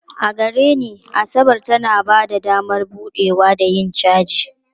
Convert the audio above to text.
A gare ni, Asabar tana ba da damar buɗewa da yin caji.